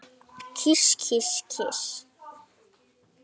Kyss, kyss, kyss.